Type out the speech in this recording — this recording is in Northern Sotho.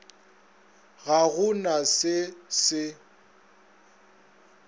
ga go na se se